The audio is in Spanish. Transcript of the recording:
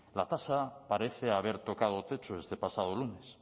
la tasa parece haber tocado techo este pasado lunes